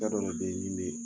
Da dɔ de bɛ ye min bɛ